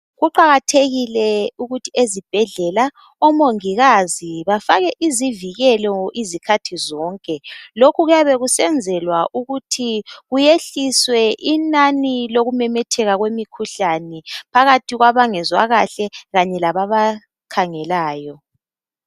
Kuqakathekile ukuthi ezibhedlela omongikazi bafake izivikelo izikhathi zonke lokhu kuyabe kusenzelwa ukuthi kuyehliswe inani lokumemetheka komkhuhlane kwabangezwa kahle kanye lababa khangelayo.